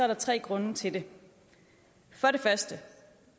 der tre grunde til det for det første